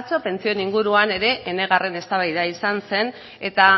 atzo pentsioen inguruan ere enegarren eztabaida izan zen eta